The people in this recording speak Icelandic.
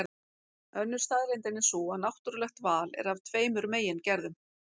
Önnur staðreyndin er sú að náttúrulegt val er af tveimur megin gerðum.